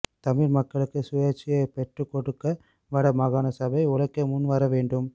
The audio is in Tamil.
தமிழ் மக்களுக்கு சுயாட்சியை பெற்றுக்கொடுக்க வட மாகாண சபை உழைக்க முன் வரவேண்டும்